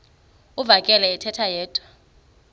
uvakele ethetha yedwa